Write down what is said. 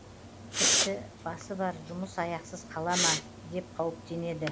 тіпті басы бар жұмыс аяқсыз қала ма деп қауіптенеді